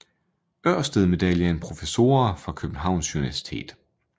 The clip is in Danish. Ørsted Medaljen Professorer fra Københavns Universitet